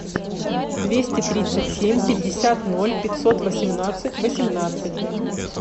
двести тридцать семь пятьдесят ноль пятьсот восемнадцать восемнадцать